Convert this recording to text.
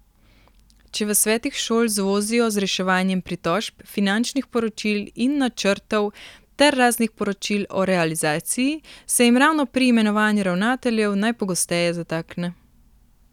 Če v svetih šol zvozijo z reševanjem pritožb, finančnih poročil in načrtov ter raznih poročil o realizaciji, se jim ravno pri imenovanju ravnateljev najpogosteje zatakne.